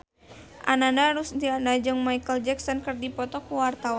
Ananda Rusdiana jeung Micheal Jackson keur dipoto ku wartawan